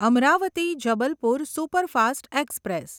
Amravati Jabalpur superfast express